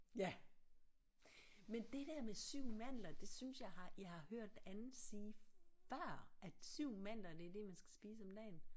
Ja men det der med 7 mandler det synes jeg har jeg har hørt andet sige før at 7 mandler det er det man skal spise om dagen